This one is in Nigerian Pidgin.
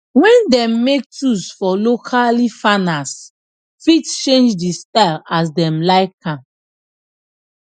wen dem make tools for locally farners fit change dey style as dem like am